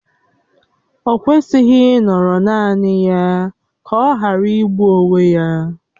O kwesịghị ịnọrọ naanị ya ka ọ ghara igbụ onwe ya